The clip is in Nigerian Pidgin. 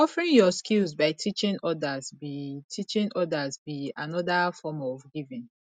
offering yur skills by teaching odas be teaching odas be anoda form of giving